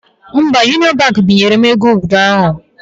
Mba, Union Baankị binyere m ego ụnyaahụ